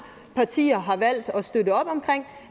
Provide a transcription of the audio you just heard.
partier har valgt